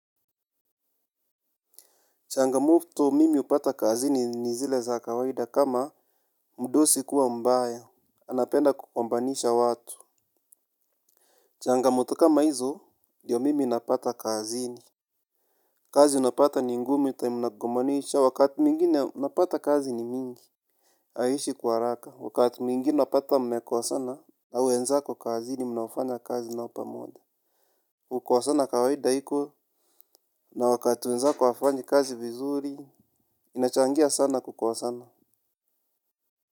Changamoto mimi hupata kazini ni zile za kawaida kama mdosi kuwa mbaya, anapenda kugombanisha watu. Changamoto kama hizo, ndiyo mimi napata kazini. Kazi unapata ni ngumu time unagombanishwa, wakati mingine unapata kazi ni mingi. Aishi kwa haraka, wakati mwingine unapata mmekosana, na wenzaki kazini mnaofanya kazi nao pamoja. Kukosana kawaida iko, na wakati wenzako hawafanyi kazi vizuri, inachangia sana kukosana.